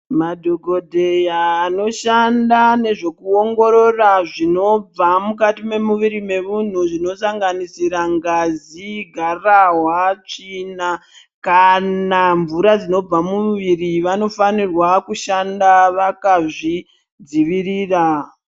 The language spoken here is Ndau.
Madhogodheya anoshanda nezvekuongorora zvinobva mukati memuviri memunhu zvinosanganisira ngazi, gararwa, tsvina kana mvura dzinobva mumuviri vanofanirwa kushanda vakazvidzivirira.